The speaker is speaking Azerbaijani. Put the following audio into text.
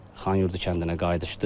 Xanyurdu kəndinə qayıdışdı.